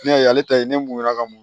Ne y'a ye ale ta ye ne mun ye a ka mɔn